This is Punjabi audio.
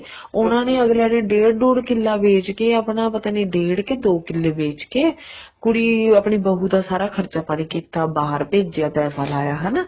ਉਹਨਾ ਨੇ ਅਗਲਿਆਂ ਡੇਡ ਡੂਡ ਕਿੱਲਾ ਵੇਚ ਕੇ ਆਪਣਾ ਪਤਾ ਨਹੀਂ ਡੇਡ ਕੇ ਦੋ ਕਿੱਲੇ ਵੇਚਕੇ ਕੁੜੀ ਆਪਣੀ ਬਹੂ ਦਾ ਸਾਰਾ ਖਰਚਾ ਪਾਣੀ ਕੀਤਾ ਬਹਾਰ ਭੇਜਿਆ ਪੈਸਾ ਲਾਇਆ ਹਨਾ